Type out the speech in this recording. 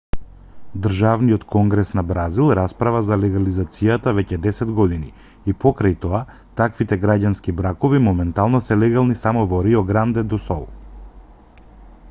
државниот конгрес на бразил расправа за легализацијата веќе десет години и покрај тоа таквите граѓански бракови моментално се легални само во рио гранде до сул